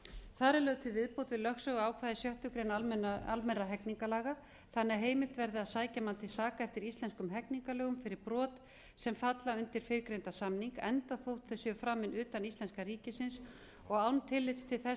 þar er lögð til viðbót við lögsöguákvæði sjöttu grein almennra hegningarlaga annar að heimilt verði að sækja mann til saka eftir íslenskum hegningarlögum fyrir brot sem falla undir fyrrgreindan samning enda þótt þau séu framin utan íslenska ríkisins og án tillits til þess